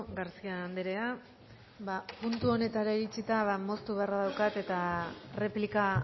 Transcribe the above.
garcía andrea ba puntu honetara iritsita ba moztu beharra daukat eta erreplika